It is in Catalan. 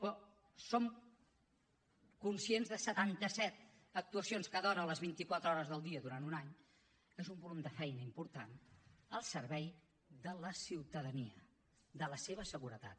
però som conscients que setanta set actuacions cada hora les vint i quatre hores del dia durant un any és un volum de feina important al servei de la ciutadania de la seva seguretat